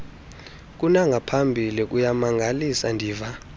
kunangaphambili kuyamangalisa ndiva